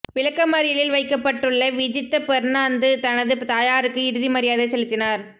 விளக்கமறியலில் வைக்கப்பட்டுள்ள் விஜித்த பெர்னாந்து தனது தாயாருக்கு இறுதி மரியாதை செலுத்தினார்